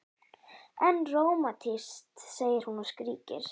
En rómantískt, segir hún og skríkir.